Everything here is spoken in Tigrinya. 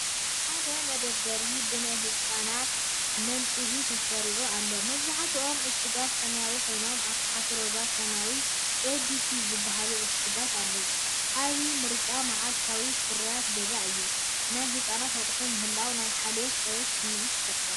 ሓደ መደርደሪ ብናይ ህጻናት መንጽሂ ተሰሪዑ ኣሎ። መብዛሕትኦም ዕሹጋት ሰማያዊ ኮይኖም፡ ኣብ ታሕቲ ሮዛን ሰማያውን "abc" ዝበሃሉ ዕሹጋት ኣለዉ። ዓቢ ምርጫ መዓልታዊ ፍርያት ገዛ እዩ። ናይ ህጻናት ኣቑሑት ምህላዎም ናይ ሓልዮትን ጽሬትን ስምዒት ይፈጥር።